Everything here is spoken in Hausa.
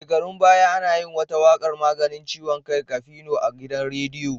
Shekarun baya ana yin wata waƙar 'maganin ciwon kai Kafino' a gidan rediyo.